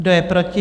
Kdo je proti?